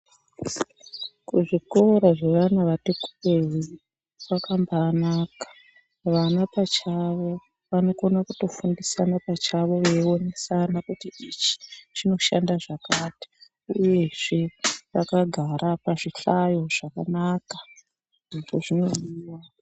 Kuzvikora kwevana vati kurei kwakambaanaka. Vana pachavo vanokona kutofundisana pachavo veionesana kuti ichi chinoshanda zvakati. Uyezve vakagara pazvihlayo zvakanaka. Zveshe zvinodiwa.